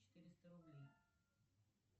четыреста рублей